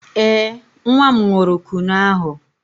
Ee, nwa m ṅụrụ Kunu ahụ.